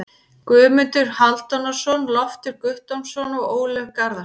Guðmundur Hálfdanarson, Loftur Guttormsson og Ólöf Garðarsdóttir.